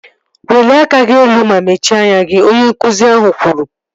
Welie aka gị elu ma mechie anya gị! Onye nkụzi ahụ kwuru